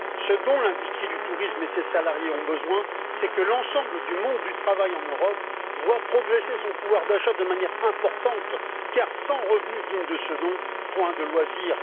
Ce dont l'industrie du tourisme et ses salariés ont besoin, c'est que l'ensemble du monde du travail en Europe voie progresser son pouvoir d'achat de manière importante, car sans revenus dignes de ce nom, point de loisirs.